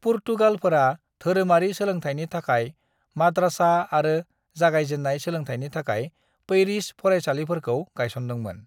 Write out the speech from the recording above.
पुर्तगालफोरा धोरोमारि सोलोंथाइनि थाखाय माद्रासा आरो जागायजेननाय सोलोंथाइनि थाखाय पैरिश फरायसालिफोरखौ गायसनदोंमोन।